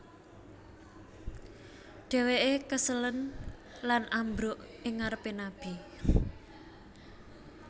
Dheweke keselen lan ambruk ing ngarepe Nabi